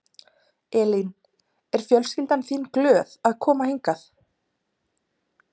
Elín: Er fjölskyldan þín glöð að koma hingað?